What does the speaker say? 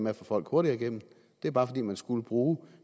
at få folk hurtigere igennem det er bare fordi man skulle bruge